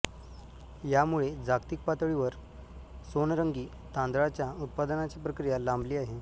यामुळे जागतिक पातळीवर सोनरंगी तांदळाच्या उत्पादनाची प्रक्रिया लांबली आहे